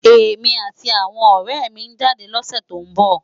Emi áti áwòn òrè mi n jádè lòsè tó n bò